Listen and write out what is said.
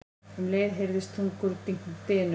Um leið heyrðist þungur dynur.